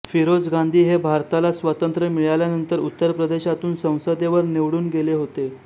फिरोज गांधी हे भारताला स्वतंत्र्य मिळाल्यानंतर उत्तर प्रदेशातून संसदेवर निवडून गेले होते